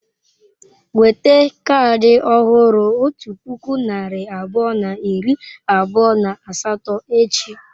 Weta kaadị ọhụrụ otu puku narị abụọ na iri abụọ na asatọ echi.